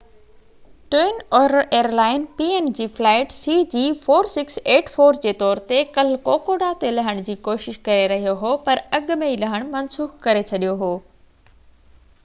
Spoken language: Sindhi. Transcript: twin otter airline png flight cg4684 جي طور تي ڪلهہ ڪوڪوڊا تي لهڻ جي ڪوشش ڪري رهيو هو پر اڳ ۾ ئي لهڻ منسوخ ڪري ڇڏيو هو